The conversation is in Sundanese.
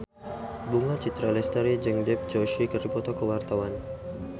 Bunga Citra Lestari jeung Dev Joshi keur dipoto ku wartawan